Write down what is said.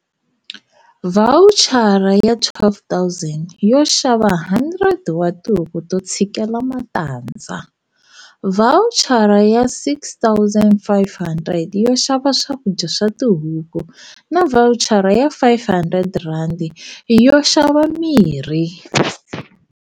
Vhawuchara ya R12 000 yo xava 100 ra tihuku to tshikela matandza, vhawuchara ya R6 500 yo xava swakudya swa tihuku na vhawuchara ya R500 yo xava mirhi.